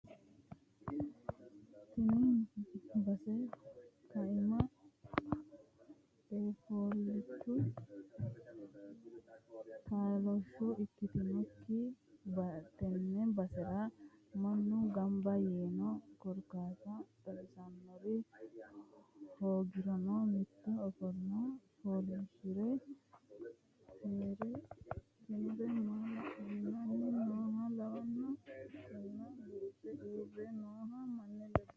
Tini base kiname eafulcho taalsho ikkitinokkitte tene basera mannu gamba yiino korkaata xawisanori hoogirono mitu ofole fooliishshire heere ikkinore maala'lanni nooha lawano kinna kaxxe uurre no manni ledo.